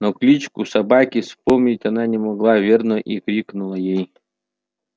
но кличку собаки вспомнить она не могла верно и крикнула ей